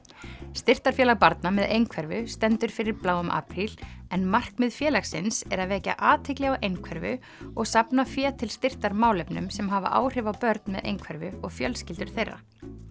styrktarfélag barna með einhverfu stendur fyrir bláum apríl en markmið félagsins er að vekja athygli á einhverfu og safna fé til styrktar málefnum sem hafa áhrif á börn með einhverfu og fjölskyldur þeirra